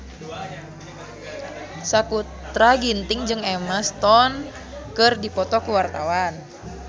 Sakutra Ginting jeung Emma Stone keur dipoto ku wartawan